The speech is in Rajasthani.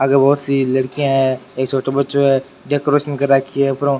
आगे बहुत सी लड़किया है एक छोटे बच्चो है डैकोरेशन कर रखी है ऊपर --